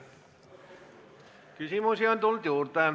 Küsimusi on tulnud juurde.